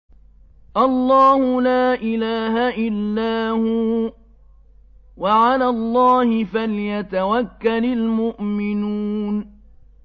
اللَّهُ لَا إِلَٰهَ إِلَّا هُوَ ۚ وَعَلَى اللَّهِ فَلْيَتَوَكَّلِ الْمُؤْمِنُونَ